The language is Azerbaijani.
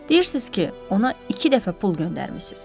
Deyirsiz ki, ona iki dəfə pul göndərmisiz.